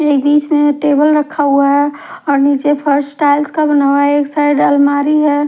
ये बीच में टेबल रखा हुआ है और नीचे फर्श टाइल्स का बना हुआ है एक साइड अलमारी है।